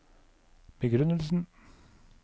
begrunnelsen